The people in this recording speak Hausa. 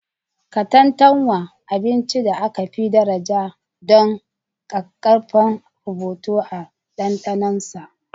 Katantanwa: Abincin da aka fi daraja don ƙaƙƙarfan rubutu da ɗanɗanon sa.